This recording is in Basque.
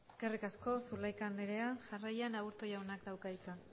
eskerrik asko zulaika andrea jarraian aburto jaunak dauka hitza